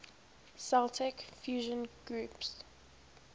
celtic fusion groups